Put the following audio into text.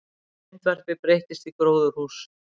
Myndvarpi breyttist í gróðurhús